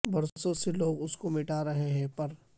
برسوں سے لوگ اس کو مٹاتے رہے ہیں پر